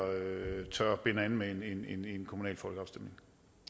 tør binde an med en kommunal folkeafstemning